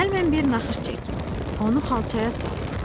Gəl mən bir naxış çəkim, onu xalçaya sal.